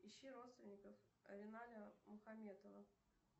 ищи родственников авеналя мухаметова